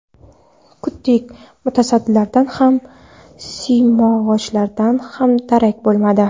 Kutdik, mutasaddilardan ham, simyog‘ochlardan ham darak bo‘lmadi.